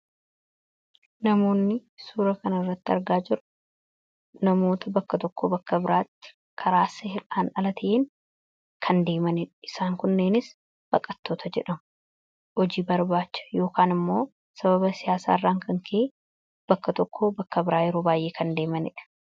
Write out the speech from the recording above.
Namoonni suura kana irratti argaa jirru namoota bakka tokko bakka biraatti karaa seeran ala ta'een kan deemaaniidha. Isaan kunneenis baqattoota jedhamu. Hojii barbaacha yookiin immoo sababa siyaasaa irraan kan ka'e bakka tokkoo bakka biraa yeroo baay'ee kan deemaniidha.